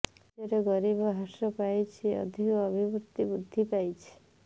ରାଜ୍ୟରେ ଗରିବ ହ୍ରାସ ପାଇଛି ଆର୍ଥିକ ଅଭିବୃଦ୍ଧି ବୃଦ୍ଧି ପାଇଛି